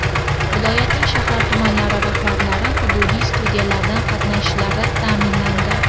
Viloyatning shahar-tumanlari rahbarlari hududiy studiyalardan qatnashishlari ta’minlandi.